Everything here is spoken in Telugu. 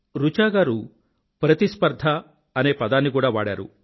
రుచా గారూ ప్రతిస్పర్థ అనే పదాన్ని కూడా వాడారు